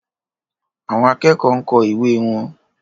Àwọn akẹ́kọ̀ọ́ ń kọ ìwé wọn.